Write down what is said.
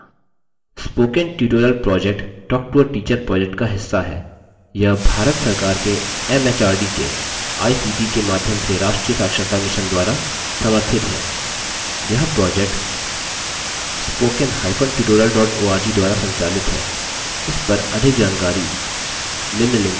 spoken tutorial project talktoateacher project का हिस्सा है यह भारत सरकार के एमएचआरडी के आईसीटी के माध्यम से राष्ट्रीय साक्षरता mission द्वारा समर्थित है यह project